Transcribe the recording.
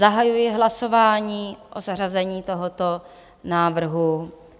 Zahajuji hlasování o zařazení tohoto návrhu.